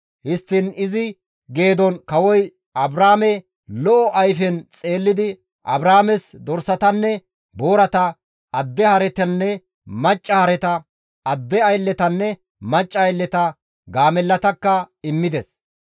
Histtiin izi geedon kawoy Abraame lo7o ayfen xeellidi Abraames dorsatanne boorata, adde haretanne macca hareta, adde aylletanne macca aylleta, gaamellatakka immides.